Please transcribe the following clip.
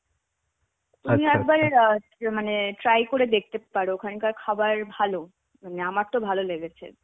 তুমি একবার অ্যাঁ মানে try করে দেখতে পারো. ওখানকার খাবার ভালো. মানে আমার তো ভালো লেগেছে